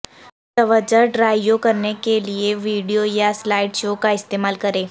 توجہ ڈرائیو کرنے کیلئے ویڈیو یا سلائیڈ شو کا استعمال کریں